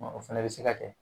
Ɔ o fɛnɛ be se ka kɛ